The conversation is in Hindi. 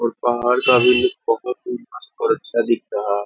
और पहाड़ का भी लुक ही मस्त और अच्छा दिखता है।